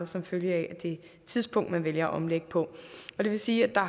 som følge af det tidspunkt man vælger at omlægge på det vil sige at der